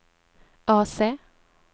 AC